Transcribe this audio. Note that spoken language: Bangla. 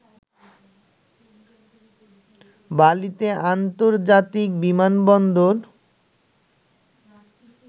বালিতে আন্তর্জাতিক বিমানবন্দর